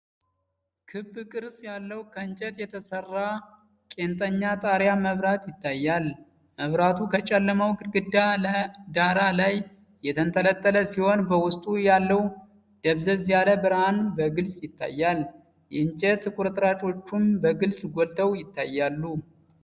ክብ ቅርጽ ያለው ከእንጨት የተሰራ ቄንጠኛ የጣሪያ መብራት ይታያል። መብራቱ ከጨለማው ግድግዳ ዳራ ላይ የተንጠለጠለ ሲሆን፣ በውስጡ ያለው ደብዘዝ ያለ ብርሃን በግልጽ ይታያል። የእንጨት ቁርጥራጮቹም በግልጽ ጎልተው ይታያሉ።